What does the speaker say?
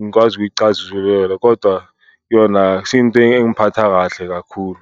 ngikwazi ukuyicazulula. Kodwa yona akusiyo into engiphatha kahle kakhulu.